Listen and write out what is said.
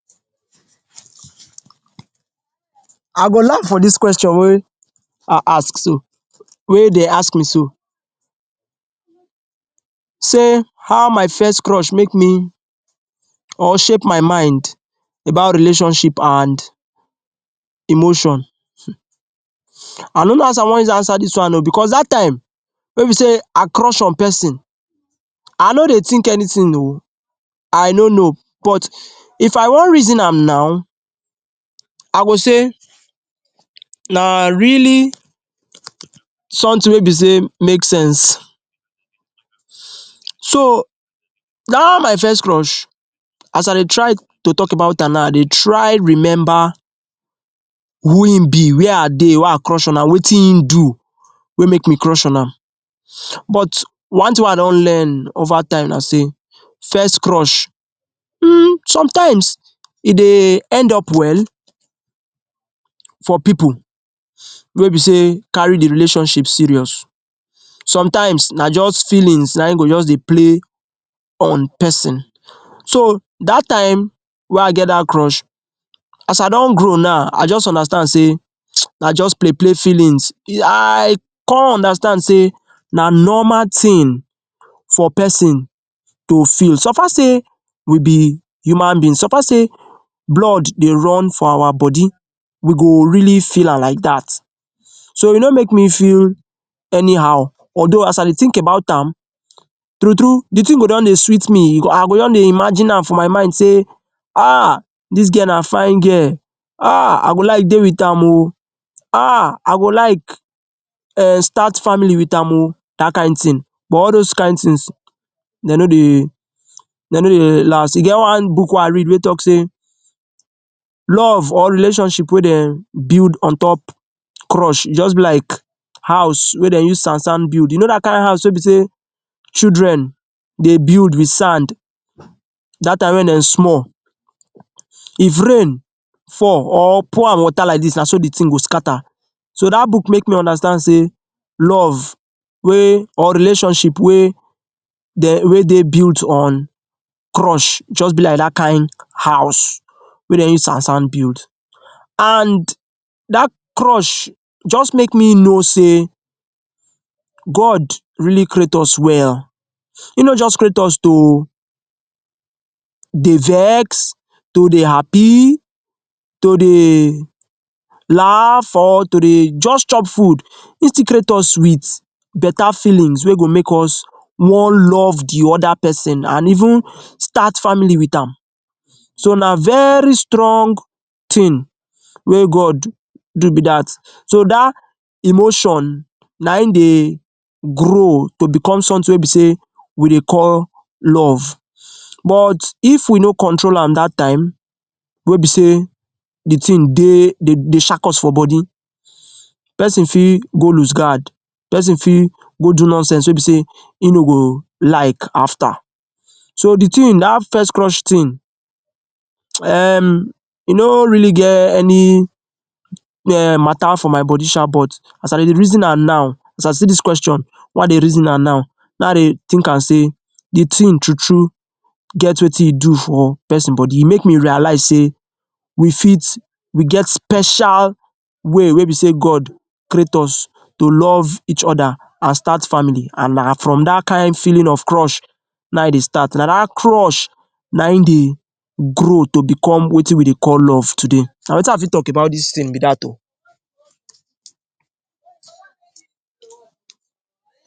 I go laugh for dis question wey I ask so wey dey ask me so, say how my first crush make me or shape my mind about relationship and emotion. I no know as I wan use answer this one oo because that time wey be say I crush on person, I no dey think anything oo, I no know. but if I wan reason now, I go say na really something wey be say make sense so, that my first crush, as i dey try to talk about am now, I dey try remember who im be, where I dey wey i crush on am, wetin im do wey make me crush on am but but one thing wey I don learn over time na say first crush um sometimes e dey end up well for people wey be say carry the relationship serious, sometimes na just feeling na im go just dey play on person. So that time wey I get that crush, as I don grow now, I just understand na just play play feelings I come understand say na normal thing for person to feel. So far say we be human beings, so far say blood dey run for our body we go really feel am feel that. So e no make me feel anyhow although as I dey think about am, true true the thing go don dey sweet me, I go don dey imagine am for my mind say, ‘aah, this girl na fine girl; aah, I go like dey with am oo; aah, I go like um start family with am oo’ dat kain thing. But all those kain things dey no dey dey no dey last. E get one book wey I read wey talk say love or relationship wey dey build on top crush just be like house wey dem use sand sand build. You know dat kain house wey be say children dey build with sand that time wey dem small if rain fall or pour am water like this, na so the thing go scatter. So dat book make me understand say love wey or relationship wey dey wey dey build on crush just be like dat kain house wey dem use sand sand build and that crush just make me know say God really create us well E no just create us to dey vex to dey happy, to dey laugh, or to dey just chop food. He still create is with better feelings wey go make us wan love the other person and even start family with am. So na very strong thing wey God do be dat so dat emotion na im dey grow to become something wey be say we dey call love. But if we no control am dat time, wey be say the thing dey dey dey shak us for body person fit go loose guard, person fit go do nonsense wey be say im no go like after. So the thing, dat first crush thing um e no really get any um matter for my body shaa but as I dey reason am now, as I see this question wey I dey reason am now na na I dey think am say the thing true true get wetin e do for person body e make me realize say we fit we get special way wey be say God create us to love each other and start family an na from dat kain feeling of crush naim dey start na dat crush na im dey grow to become wetin we dey call love today. na wetin I fit talk about dis thing be dat oo.